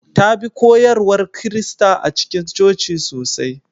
Ta bi koyarwar Kirista a cikin coci sosai.